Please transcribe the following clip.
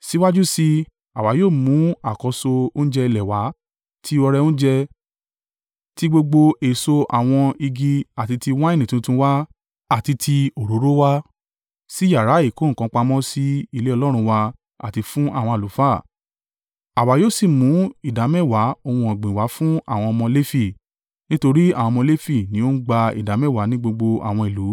“Síwájú sí i, àwa yóò mú àkọ́so oúnjẹ ilẹ̀ wa ti ọrẹ oúnjẹ, ti gbogbo èso àwọn igi àti ti wáìnì tuntun wa àti ti òróró wá sí yàrá ìkó nǹkan pamọ́ sí ilé Ọlọ́run wa àti fún àwọn àlùfáà. Àwa yóò sì mú ìdámẹ́wàá ohun ọ̀gbìn wá fún àwọn ọmọ Lefi, nítorí àwọn ọmọ Lefi ni ó ń gba ìdámẹ́wàá ní gbogbo àwọn ìlú